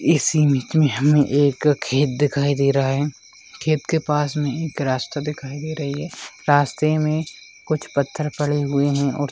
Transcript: इस में हमें एक खेत दिखाई दे रहा है खेत के पास में ही एक रास्ता दिखाई दे रही है रास्ते में कुछ पत्थर पड़े हुए हैं और--